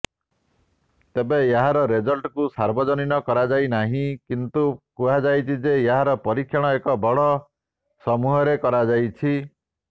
ତେବେ ଏହାର ରେଜଲ୍ଟକୁ ସାର୍ବଜନୀନ କରାଯାଇନାହିଁ କିନ୍ତୁ କୁହାଯାଉଛି ଯେ ଏହାର ପରୀକ୍ଷଣ ଏକ ବଡ଼ ସମୂହରେ କରାଯାଇଛି